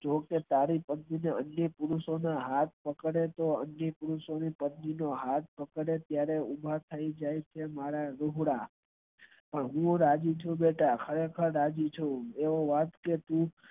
તારી અને અન્ય પુરુષો ને હાથ પકડે તો અન્ય પુરુષો ની પત્ની નો હાથ પકદે ત્યારે ઉભા થઈ જાય છે મારા લૂગડાં હું રાજી છું બેટા ખરેખર રાજી છું એવું રાખજે તું